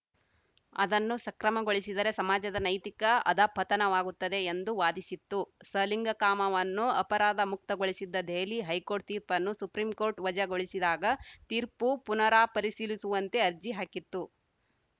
ಅದನ್ನು ಸಕ್ರಮಗೊಳಿಸಿದರೆ ಸಮಾಜದ ನೈತಿಕ ಅಧಃಪತನವಾಗುತ್ತದೆ ಎಂದು ವಾದಿಸಿತ್ತು ಸಲಿಂಗಕಾಮವನ್ನು ಅಪರಾಧಮುಕ್ತಗೊಳಿಸಿದ್ದ ದೆಹಲಿ ಹೈಕೋರ್ಟ್‌ ತೀರ್ಪನ್ನು ಸುಪ್ರೀಂಕೋರ್ಟ್‌ ವಜಾಗೊಳಿಸಿದಾಗ ತೀರ್ಪು ಪುನಾಪರಿಶೀಲಿಸುವಂತೆ ಅರ್ಜಿ ಹಾಕಿತ್ತು